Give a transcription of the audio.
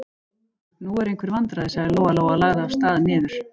Nú eru einhver vandræði, sagði Lóa-Lóa og lagði af stað niður.